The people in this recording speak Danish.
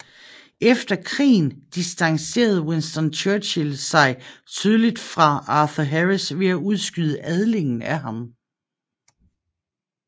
Efter krigen distancerede Winston Churchill sig tydeligt fra Arthur Harris ved at udskyde adlingen af ham